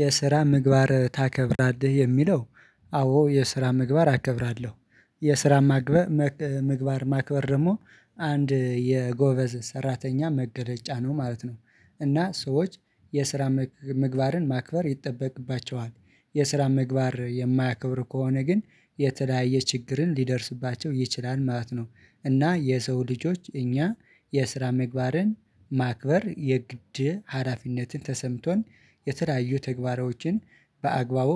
የስራ ምግባር ታከብራለህ የሚለው አዎ የስራ ምግባር አከብራለሁ የስራ ማግበ ምግባር ማክበር ደግሞ አንድ የጎበዝ ሰራተኛ መገለጫ ነው ማለት ነው። እና ሰዎች የስራ ምግባርን ማክበር ይጠበቅባቸዋል የስራ ምግባር የማያከብር ከሆነ ግን የተለያየ ችግርን ሊደርስባቸው ይችላል ማለት ነው። እና የሰው ልጆች እኛ የስራ ምግባርን ማክበር የግድ ሀራፊነትን ተሰምቶን የተለያዩ ተግባራዎችን በአግባቡ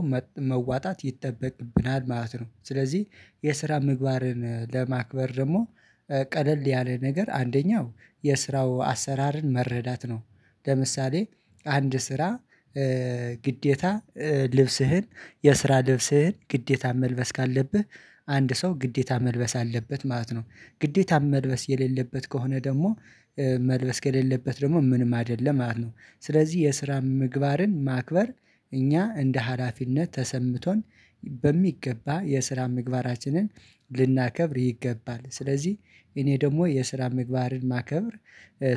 መዋጣት ይጠበቅብናል ማለት ነው። ስለዚህ የስራ ምግባርን ለማክበር ደግሞ ቀለል ያለ ነገር አንደኛው የስራው አሰራርን መረዳት ነው። ለምሳሌ አንድ ስራ ግዴታ ልብስህን የስራ ልብስህን ግዴታ መልበስ ካለብህ አንድ ሰው ግዴታ መልበስ አለበት ማለት ነው። ግዴታ መልበስ የሌለበት ከሆነ ደግሞ መልበስ ከሌለበት ደግሞ ምንም አይደለም አሉ። ስለዚህ የስራ ምግባርን ማክበር እኛ እንደ ሀላፊነት ተሰምቶን በሚገባ የስራ ምግባራችንን ልናከብር ይገባል። ስለዚህ እኔ ደግሞ የስራ ምግባርን ማከብር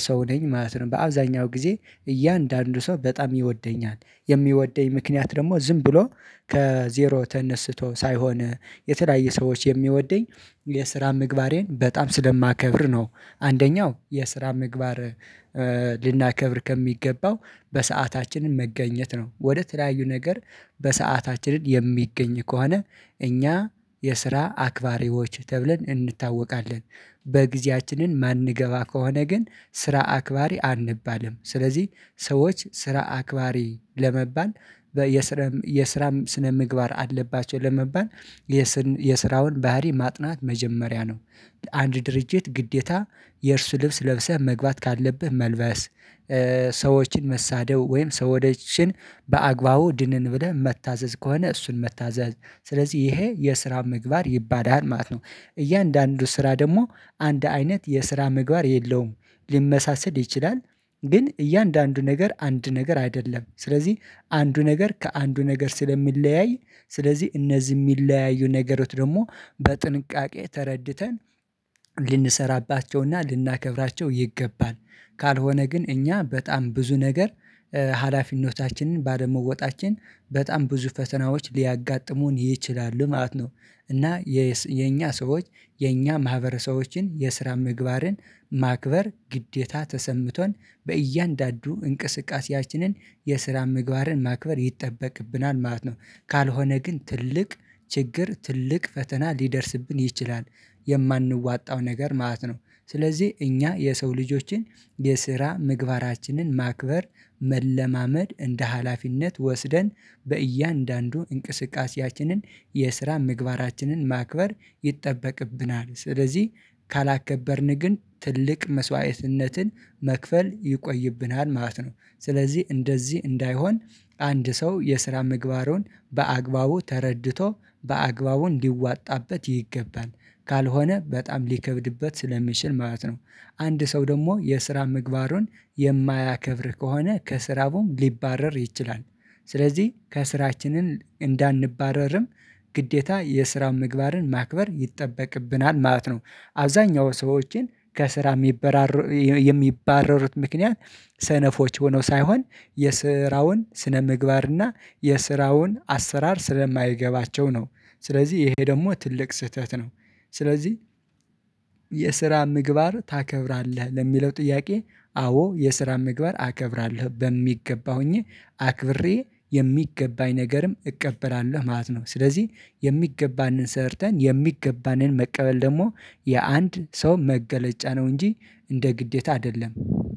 ሰው ነኝ ማለት ነው። በአብዛኛው ጊዜ እያንዳንዱ ሰው በጣም ይወደኛል የሚወደኝ ምክንያት ደግሞ ዝም ብሎ ከዜሮ ተነስቶ ሳይሆን የተለያየ ሰዎች የሚወደኝ የስራ ምግባሬን በጣም ስለማከብር ነው። አንደኛው የስራ ምግባር ልናከብር ከሚገባው በሰአታችን መገኘት ነው ወደ ተለያዩ ነገር በሰአታችን የሚገኝ ከሆነ እኛ የስራ አክባሪዎች ተብለን እንታወቃለን። በጊዜያችን የማንገባ ከሆነ ግን ስራ አክባሪ አንባልም ስለዚህ ሰዎች ስራ አክባሪ ለመባል የስራም ስነ ምግባር አለባቸው ለመባል የስራውን ባህሪ ማጥናት መጀመሪያ ነው። አንድ ድርጅት ግዴታ የእርሱ ልብስ ለብሰህ መግባት ካለብህ መልበስ ሰዎችን መሳደብ ወይም ሰው ወደችን በአግባቡ ድንን ብለህ መታዘዝ ከሆነ እሱን መታዘዝ ስለዚህ ይሄ የስራ ምግባር ይባላል ማለት ነው። እያንዳንዱ ስራ ደግሞ አንድ አይነት የስራ ምግባር የለውም ሊመሳሰል ይችላል ግን እያንዳንዱ ነገር አንድ ነገር አይደለም። ስለዚህ አንዱ ነገር ከአንዱ ነገር ስለሚለያይ ስለዚህ እነዚህ የሚለያዩ ነገሮች ደግሞ በጥንቃቄ ተረድተን ልንሰራባቸውና ልናከብራቸው ይገባል። ካልሆነ ግን እኛ በጣም ብዙ ነገር ሀላፊነታችንን ባደመወጣታችን በጣም ብዙ ፈተናዎች ሊያጋጥሙን ይችላሉ ማለት ነው። እና የኛ ሰዎች የኛ ማህበረሰቦችን የስራ ምግባርን ማክበር ግዴታ ተሰምቶን በእያንዳንዱ እንቅስቃሴያችን የስራ ምግባርን ማክበር ይጠበቅብናል ማለት ነው። ካልሆነ ግን ትልቅ ችግር ትልቅ ፈተና ሊደርስብን ይችላል የማንወጣው ነገር ማለት ነው። ስለዚህ እኛ የሰው ልጆችን የስራ ምግባራችን ማክበር መለማመድ እንደ ሀላፊነት ወስደን በእያንዳንዱ እንቅስቃሴያችን የስራ ምግባራችንን ማክበር ይጠበቅብናል ስለዚህ ካላከበርን ግን ትልቅ መስዋዕትነትን መክፈል ይቆይብናል ማለት ነው። ስለዚህ እንደዚህ እንዳይሆን አንድ ሰው የስራ ምግባሩን በአግባቡ ተረድቶ በአግባቡ እንዲዋጣበት ይገባል ካልሆነ በጣም ሊከብድበት ስለሚችል ማለት ነው። አንድ ሰው ደግሞ የስራ ምግባሩን የማያከብር ከሆነ ከስራውም ሊባረር ይችላል። ስለዚህ ከስራችን እንዳንባረርም ግዴታ የስራውን ምግባርን ማክበር ይጠበቅብናል ማለት ነው። አብዛኛው ሰዎችን ከስራ የሚባረሩት ምክንያት ሰነፎች ሆነው ሳይሆን የስራውን ስነ ምግባርና የስራውን አሰራር ስለማይገባቸው ነው። ስለዚህ ይሄ ደግሞ ትልቅ ስህተት ነው። ስለዚህ የስራ ምግባር ታከብራለህ ለሚለው ጥያቄ አዎ የስራ ምግባር አከብራለሁ በሚገባ ሆኜ አክብሬ የሚገባኝ ነገርም እቀበራለሁ ማለት ነው። ስለዚህ የሚገባንን ሰርተን የሚገባንን መቀበል ደግሞ የአንድ ሰው መገለጫ ነው እንጂ እንደ ግዴታ አይደለም